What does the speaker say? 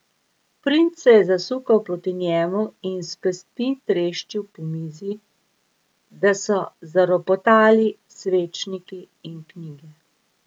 Princ se je zasukal proti njemu in s pestmi treščil po mizi, da so zaropotali svečniki in knjige.